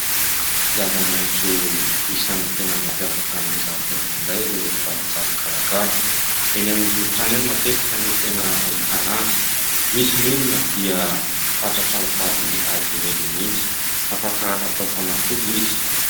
Zava-maitso isan'ny tena mampiavaka ny zaridaina iray rehefa tsara karakara. Eny amin'ny zoron-trano eny matetika no tena ahitana azy. Misy ny olona dia fatratra mitady azy ireny mihitsy. Afaka atao fanafody izy.